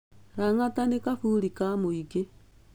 Lang'ata nĩ kaburi ka mũingĩ.